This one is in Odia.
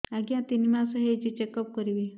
ଆଜ୍ଞା ତିନି ମାସ ହେଇଛି ଚେକ ଅପ କରିବି